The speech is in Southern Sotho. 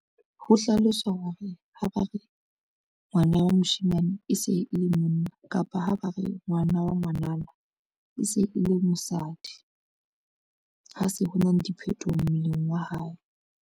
Ho hlaloswa ho re ha ba re ngwana wa moshemane e se e le monna kapa ha ba re ngwana wa ngwanana e se e le mosadi, ha se ho na le diphetoho mmeleng wa hae.